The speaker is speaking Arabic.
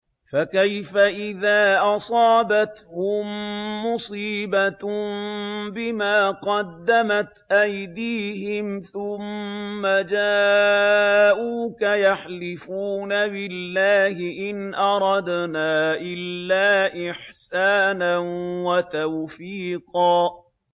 فَكَيْفَ إِذَا أَصَابَتْهُم مُّصِيبَةٌ بِمَا قَدَّمَتْ أَيْدِيهِمْ ثُمَّ جَاءُوكَ يَحْلِفُونَ بِاللَّهِ إِنْ أَرَدْنَا إِلَّا إِحْسَانًا وَتَوْفِيقًا